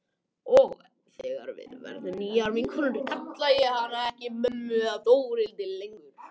Og þegar við verðum nýjar vinkonur kalla ég hana ekki mömmu eða Þórhildi lengur.